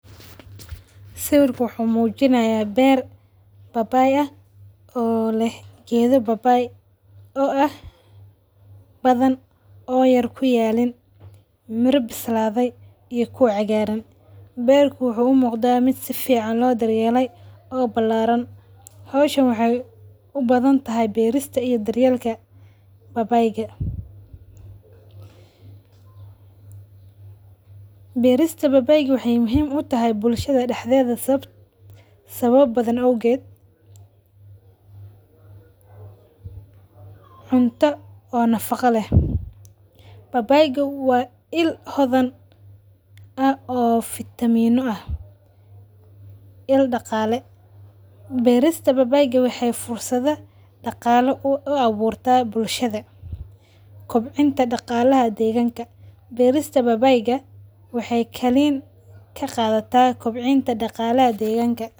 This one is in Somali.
Sawirka wuxu mujinaya beer oo papay aah oo leeh geedha papay oo badhan oo wax yar kuyaliin mira pisladhe iyo kuwa cagaraan. Beerka wuxu umuqda mid safican loo dar yeelay oo balaran. Hawshan waxay u badhantahy beerista iyo daryeelka papyga. Beerista papayga waxay muhiim u tahay bulshada dahdedha sabab badhan awgeed; cunta oo nafaga leeh, papayga waa ill hodhan oo vitamin oo ah. Ill dagale, beerista papayga waxay fursadha dagaalo oo abuurta bulshada. Koobcinta dagalaha deeganka. Beerista papayga waxay kaleen kaqadhata kobcinta dagalaha deeganka.